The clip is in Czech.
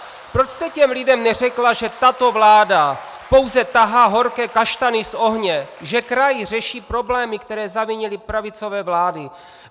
Proč jste těm lidem neřekla, že tato vláda pouze tahá horké kaštany z ohně, že kraj řeší problémy, které zavinily pravicové vlády?